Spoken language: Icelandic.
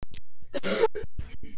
Hann var minn.